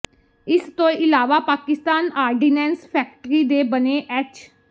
ਇਸ ਤੋਂ ਇਲਾਵਾ ਪਾਕਿਸਤਾਨ ਆਰਡੀਨੈਂਸ ਫੈਕਟਰੀ ਦੇ ਬਣੇ ਐਚ